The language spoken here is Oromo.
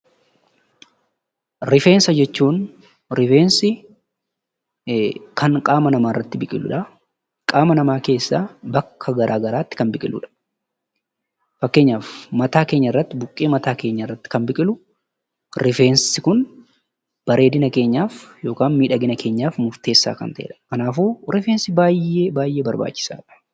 Rifeensa jechuun kan qaamaa namaa irratti biqiluu dha .Qaamaa namaa keessaa bakka garaa gariitti kan biqiluu dha. Fakkeenyaaf buqqee mataa keenyaa irratti kan biqilu bareedinaaf akkasumas miidhagina kan ta'eedha. Kanaafuu rifeensi baayyee barbaachisaa dha.